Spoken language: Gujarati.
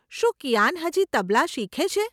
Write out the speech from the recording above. શું કિયાન હજી તબલા શીખે છે?